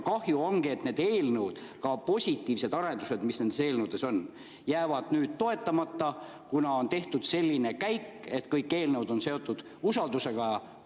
Kahju ongi, et need eelnõud ja ka positiivsed arendused, mis nendes eelnõudes on, jäävad nüüd toetamata, kuna on tehtud selline käik, et kõik eelnõud on seotud usaldus.